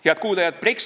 Head kuulajad!